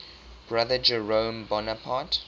brother jerome bonaparte